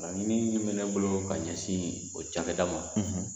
Min bɛ ne bolo ka ɲɛsin o ca kɛ da ma